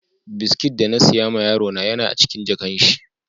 biskit da na siya ma yaro na Yan a cikin jakan shi.